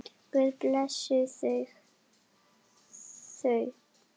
Guð blessi þau.